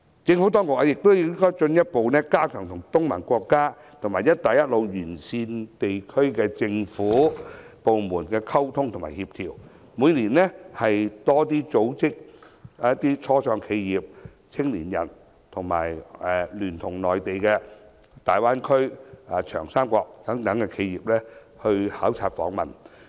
政府當局亦應進一步加強與東盟國家和"一帶一路"沿線地區的政府部門的溝通及協調，每年多組織初創企業、青年人及聯同內地大灣區及長三角等地企業考察訪問。